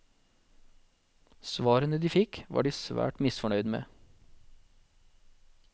Svarene de fikk var de svært misfornøyd med.